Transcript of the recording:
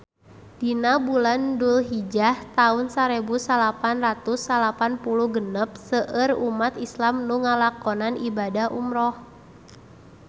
Dina bulan Dulhijah taun sarebu salapan ratus salapan puluh genep seueur umat islam nu ngalakonan ibadah umrah